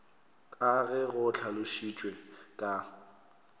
ka ge go hlalošitšwe ka